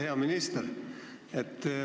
Hea minister!